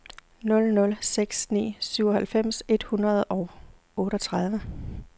nul nul seks ni syvoghalvfems et hundrede og otteogtredive